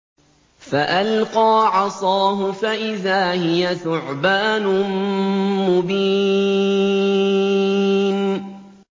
فَأَلْقَىٰ عَصَاهُ فَإِذَا هِيَ ثُعْبَانٌ مُّبِينٌ